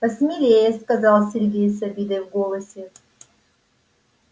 посмелее сказал сергей с обидой в голосе